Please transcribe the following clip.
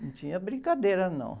Não tinha brincadeira, não.